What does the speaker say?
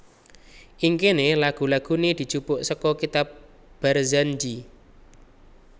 Ing kene lagu lagune dijupuk seka kitab Barzanji